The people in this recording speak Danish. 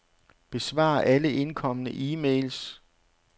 Besvar alle indkomne e-mails.